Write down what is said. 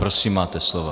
Prosím, máte slovo.